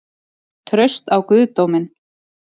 Traust á guðdóminn?